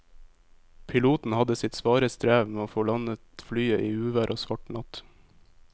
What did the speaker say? Piloten hadde sitt svare strev med å få landet flyet i uvær og svart natt.